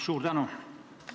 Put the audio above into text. Suur tänu!